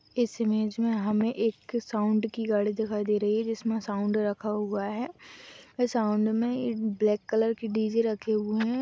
इस इमेज में हमें एक साउंड की गाड़ी दिखाई दे रही है जिसमें साउंड रखा हुआ है साउंड में एक ब्लैक कलर की डी_जे रखें हुए हैं।